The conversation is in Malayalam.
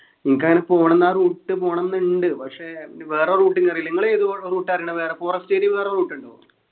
എനിക്കങ്ങനെ പോണംന്ന് ആ route പോണംന്ന്ണ്ട് പക്ഷെ നി വേറെ route ഇന് അറീല നിങ്ങൾ ഏത് route ആ അറിയിണെ വേറെ forest area വേറെ route ഉണ്ടോ